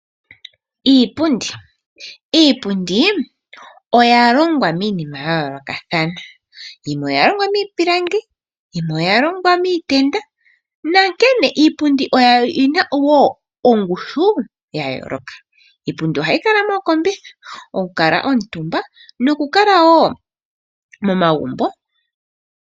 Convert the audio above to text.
Iipundi Iipundi oya longwa miinima ya yoolokathana. Yimwe oya longwa miipilangi, yimwe oya longwa miitenda. Iipundi oyi na wo ongushu ya yooloka. Iipundi ohayi kala mookombitha, okukalwa omutumbwa nokukala wo momagumbo.